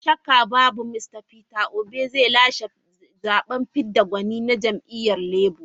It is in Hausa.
Ko shakka babu Mista Peter Obi zai lashe zaben fidda gwani na jam'iyyar Labour.